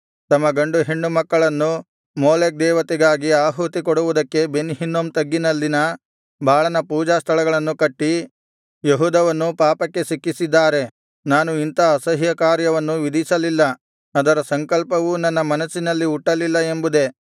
ತಮ್ಮ ಗಂಡು ಹೆಣ್ಣು ಮಕ್ಕಳನ್ನು ಮೋಲೆಕ್ ದೇವತೆಗಾಗಿ ಆಹುತಿ ಕೊಡುವುದಕ್ಕೆ ಬೆನ್ ಹಿನ್ನೋಮ್ ತಗ್ಗಿನಲ್ಲಿನ ಬಾಳನ ಪೂಜಾಸ್ಥಳಗಳನ್ನು ಕಟ್ಟಿ ಯೆಹೂದವನ್ನು ಪಾಪಕ್ಕೆ ಸಿಕ್ಕಿಸಿದ್ದಾರೆ ನಾನು ಇಂಥ ಅಸಹ್ಯಕಾರ್ಯವನ್ನು ವಿಧಿಸಲಿಲ್ಲ ಅದರ ಸಂಕಲ್ಪವೂ ನನ್ನ ಮನಸ್ಸಿನಲ್ಲಿ ಹುಟ್ಟಲಿಲ್ಲ ಎಂಬುದೇ